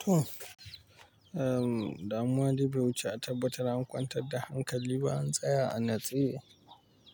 To, ehm, damuwa dai bai wuce a tabbatar an kwantar da hankali ba, an tsaya a natsaye